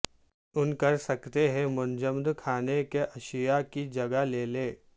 ان کر سکتے ہیں منجمد کھانے کی اشیاء کی جگہ لے لے